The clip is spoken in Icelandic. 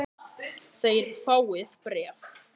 Þér fáið bréf!